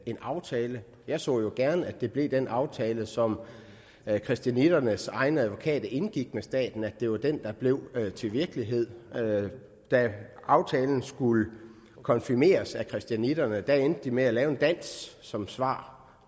en aftale jeg så jo gerne at det blev den aftale som christianitternes egen advokat indgik med staten altså at det var den der blev til virkelighed da aftalen skulle konfirmeres af christianitterne endte de med at lave en dans som svar